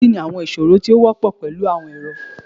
Kini awọn iṣoro ti o wọpọ pẹlu awọn ẹrọ?